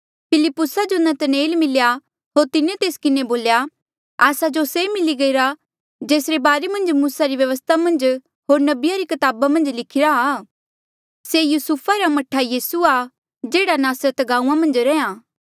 फिलिप्पुसा जो नतनएल मिल्या होर तिन्हें तेस किन्हें बोल्या आस्सा जो से मिली गईरा जेसरे बारे मन्झ मूसा री व्यवस्था मन्झ होर नबिया री कताबा मन्झ लिखिरा आ से युसुफा रा मह्ठा यीसू आ जेह्ड़ा नासरत गांऊँआं मन्झ रैंहयां